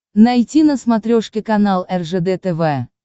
найти на смотрешке канал ржд тв